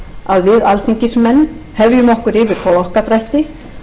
að við alþingismenn hefjum okkur yfir flokkadrætti